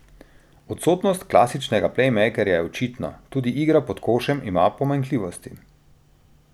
Odsotnost klasičnega plejmejkerja je očitna, tudi igra pod košem ima pomanjkljivosti.